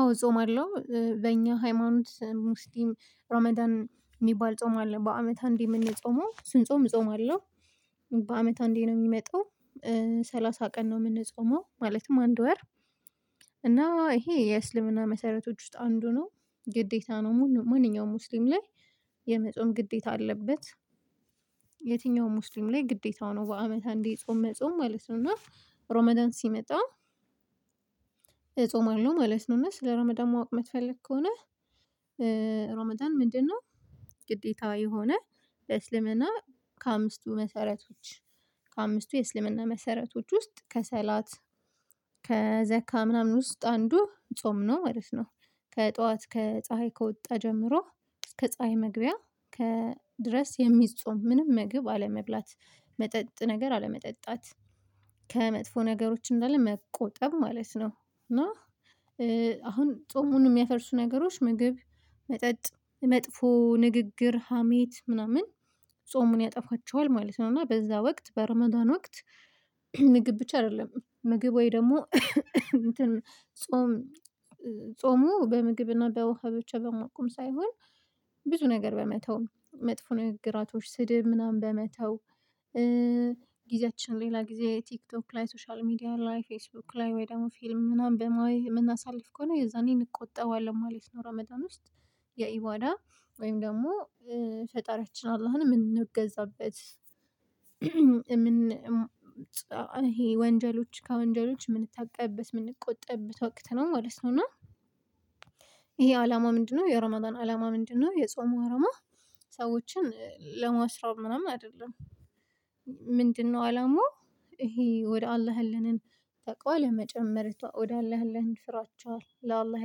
አዎ ጾማለው በእኛ ሃይማኖት ሙስሊም ራመዳን የሚባል ጾም አለ በአመት አንዴ የምንጾመው ስንጾም እጾማለሁ በአመት አንዴ ነው የሚመጣው። ሰላሳ ቀን ነው የምንጾመው ማለትም አንድ ወር። እና ይሄ የእስልምና መሰረቶች ውስጥ አንዱ ነው ግዴታ ነው ማንኛውም ሙስሊም ላይ የመጾም ግዴታ አለበት። የትኛውም ሙስሊም ላይ ግዴታው ነው በአመት አንዴ ጾም መጾም ማለት ነው። እና ሮማዳን ሲመጣ እጾማለሁ ማለት ነው። እና ስለ ረመዳን ማወቅ የምትፈልግ ከሆነ ረመዳን ምንድነው? ግዴታ የሆነ በእስልምና ከአምስቱ መሰረቶች ከአምስቱ የእስልምና መሰረቶች ውስጥ ከሰላት ከዘካ ምናምን ውስጥ አንዱ ጾም ነው ማለት ነው። ከጠዋት ከፀሀይ ከወጣ ጀምሮ እስከ ፀሀይ መግቢያ ከ ድረስ የሚጾም ምንም ምግብ አለመብላት መጠጥ ነገር አለመጠጣት ከመጥፎ ነገሮች እንዳለ መቆጠብ ማለት ነው። እና አሁን ጾሙን የሚያፈርሱ ነገሮች ምግብ መጠጥ መጥፎ ንግግር ሀሜት ምናምን ጾሙን ያጠፋቸዋል ማለት ነው። እና በዛ ወቅት በረማዳን ወቅት ምግብ ብቻ አይደለም ምግብ ወይ ደግሞ እንትን ጾም ጾሙ በምግብና በውሃ ብቻ በመቆም ሳይሆን ብዙ ነገር በመተው መጥፎ ንግግራቶች ስድብ ምናምን በመተው ጊዜያችን ሌላ ጊዜ ቲክቶክ ላይ ሶሻል ሚዲያ ላይ ፌስቡክ ላይ ወይ ደግሞ ፊልም ምናምን በማየህ የምናሳልፍ ከሆነ የዛኔ እቆጠባለሁ ማለት ነው። ራመዳን ውስጥ የኢዋዳ ወይም ደግሞ ፈጣሪያችን አላህን የምንገዛበት ይሄ ወንጀሎች ከወንጀሎች የምንታቀብበት የምንቆጠብበት ወቅት ነው ማለት ነው። እና ይሄ አላማ ምንድነው? የሮማዳን አላማ ምንድነው? የጾሙ አላማ ሰዎችን ለመስራብ ምናምን አይደለም። ምንድነው አላማው ይሄ ወደ አላህ ያለንን ታውቃ ለመጨመር ወደ አላህ ያለንን ፍራቻ ለአላህ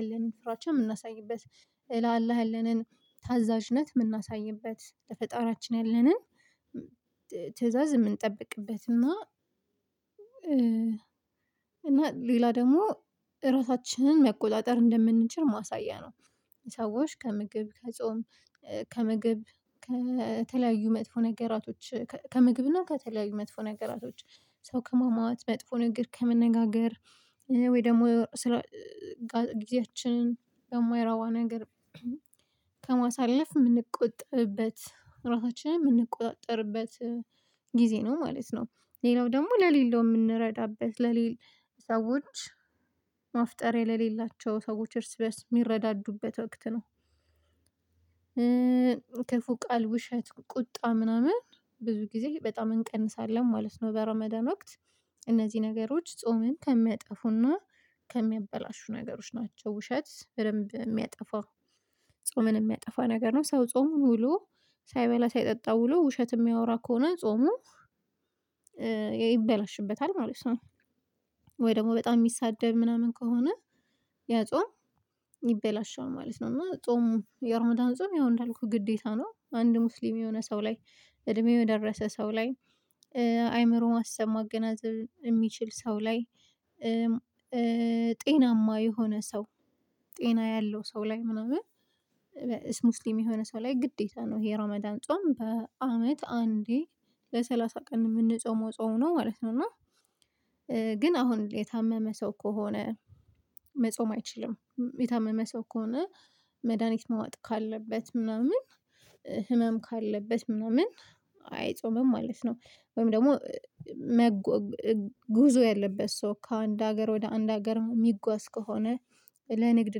ያለንን ፍራቻ የምናሳይበት ለአላህ ያለንን ታዛዥነት የምናሳይበት ለፈጣራችን ያለንን ትእዛዝ የምንጠብቅበት እና እና ሌላ ደግሞ እራሳችንን መቆጣጠር እንደምንችል ማሳያ ነው። ሰዎች ከምግብ ከጾም ከምግብ ከተለያዩ መጥፎ ነገራቶች ከምግብና ከተለያዩ መጥፎ ነገራቶች ሰው ከማማት መጥፎ ንግግር ከመነጋገር ወይ ደግሞ ጊዜያችንን በማይረባ ነገር ከማሳለፍ የምንቆጥብበት ራሳችንን የምንቆጠርበት ጊዜ ነው ማለት ነው። ሌላው ደግሞ ለሌለው የምንረዳበት ለሌላ ሰዎች ማፍጠር ለሌላቸው ሰዎች እርስ በርስ የሚረዳዱበት ወቅት ነው። ክፉ ቃል ውሸት ቁጣ ምናምን ብዙ ጊዜ በጣም እንቀንሳለን ማለት ነው በረመዳን ወቅት እነዚህ ነገሮች ጾምን ከሚያጠፉና ከሚያበላሹ ነገሮች ናቸው። ውሸት በደንብ የሚያጠፋ ጾምን የሚያጠፋ ነገር ነው ሰው ጾምን ውሎ ሳይበላ ሳይጠጣ ውሎ ውሸት የሚያወራ ከሆነ ጾሙ ይበላሽበታል ማለት ነው። ወይ ደግሞ በጣም የሚሳደብ ምናምን ከሆነ ያ ጾም ይበላሸል ማለት ነው። እና ጾሙ የኦርማዳን ጾም ያው እንዳልኩት ግዴታ ነው። አንድ ሙስሊም የሆነ ሰው ላይ እድሜው የደረሰ ሰው ላይ አይምሮ ማሰብ ማገናዘብ የሚችል ሰው ላይ ጤናማ የሆነ ሰው ጤና ያለው ሰው ላይ ምናምን እሱ ሙስሊም የሆነ ሰው ላይ ግዴታ ነው ይሄ ረመዳን ጾም በአመት አንዴ ለሰላሳ ቀን የምንጾመው ጾም ነው ማለት ነው። እና ግን አሁን የታመመ ሰው ከሆነ መጾም አይችልም። የታመመ ሰው ከሆነ መድሃኒት መዋጥ ካለበት ምናምን ህመም ካለበት ምናምን አይጾምም ማለት ነው። ወይም ደግሞ መጎ ጉዞ ያለበት ሰው ከአንድ ሀገር ወደ አንድ ሀገር የሚጓዝ ከሆነ ለንግድ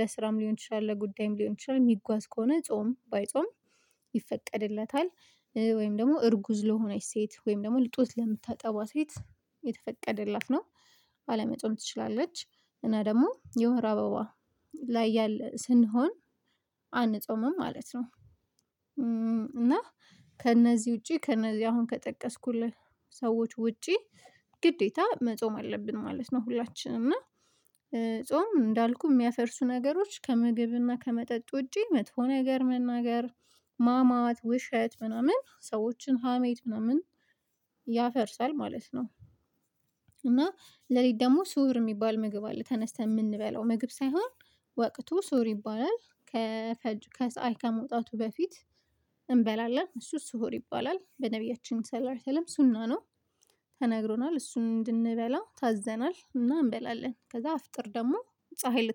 ለስራም ሊሆን ይችላል ለጉዳይም ሊሆን ይችላል የሚጓዝ ከሆነ ጾም ባይጾም ይፈቀድለታል። ወይም ደግሞ እርጉዝ ለሆነች ሴት ወይም ደግሞ ጡት ለምታጠባ ሴት የተፈቀደላት ነው። አለመፆም ትችላለች እና ደግሞ የወር አበባ ላይ ስንሆን አንጾምም ማለት ነው። እና ከእነዚህ ውጪ ከእነዚህ አሁን ከጠቀስኩልህ ሰዎች ውጪ ግዴታ መጾም አለብን ማለት ነው። ሁላችንም እና ጾም እንዳልኩህ የሚያፈርሱ ነገሮች ከምግብና ከመጠጥ ውጪ መጥፎ ነገር መናገር ማማት ውሸት ምናምን ሰዎችን ሀሜት ምናምን ያፈርሳል ማለት ነው። እና ሌሊት ደግሞ ስውር የሚባል ምግብ አለ ተነስተን የምንበለው ምግብ ሳይሆን ወቅቱ ሱር ይባላል። ከፀሀይ ከመውጣቱ በፊት እንበላለን እሱ እሱ ሱር ይባላል በነብያችን ሰላርተለም ሱና ነው። ተናግሮናል እሱን እንድንበላ ታዘናል እና እንበላለን ከዛ አፍጥር ደግሞ ፀሀይ